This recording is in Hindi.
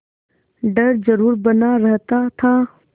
डर जरुर बना रहता था